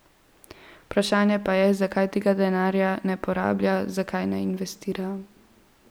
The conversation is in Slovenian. Vprašanje pa je, zakaj tega denarja ne porablja, zakaj ne investira.